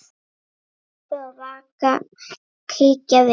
Rebbi og Vaka kíkja við.